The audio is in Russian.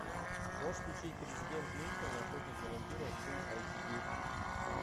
можешь включить президент линкольн охотник на вампиров фулл эйч ди